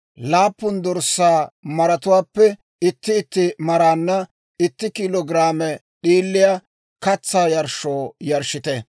laappun dorssaa maratuwaappe itti itti maraanna itti kiilo giraame d'iiliyaa katsaa yarshshoo yarshshite.